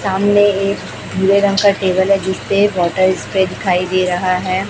सामने एक भूरे रंग का टेबल है जिसपे वाटर स्प्रे पर दिखाई दे रहा है।